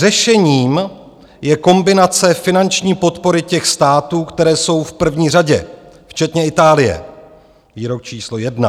Řešením je kombinace finanční podpory těch států, které jsou v první řadě, včetně Itálie - Výrok číslo jedna.